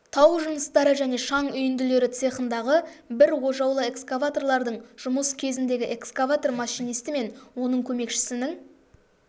тау жыныстары және шаң үйінділері цехындағы бір ожаулы экскаваторлардың жұмыс кезіндегі экскаватор машинисті мен оның көмекшісінің